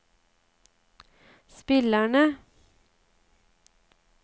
spillerne